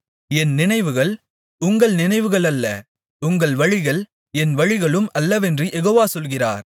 என் நினைவுகள் உங்கள் நினைவுகள் அல்ல உங்கள் வழிகள் என் வழிகளும் அல்லவென்று யெகோவா சொல்கிறார்